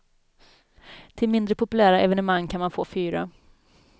Till mindre populära evenemang kan man få fyra.